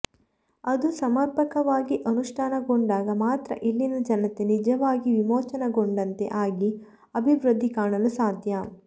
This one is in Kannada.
ಅದು ಸಮರ್ಪಕವಾಗಿ ಅನುಷ್ಠಾನಗೊಂಡಾಗ ಮಾತ್ರ ಇಲ್ಲಿನ ಜನತೆ ನಿಜವಾಗಿ ವಿಮೋಚನೆಗೊಂಡಂತೆ ಆಗಿ ಅಭಿವೃದ್ಧಿ ಕಾಣಲು ಸಾಧ್ಯ